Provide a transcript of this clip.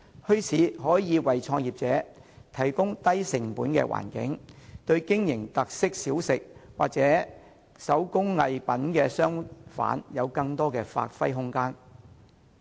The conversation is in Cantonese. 墟市可以為創業者提供低成本的環境，使經營特色小食或手工藝品的商販能夠得到更多的發揮空間。